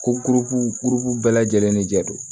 Ko bɛɛ lajɛlen ne jɛ don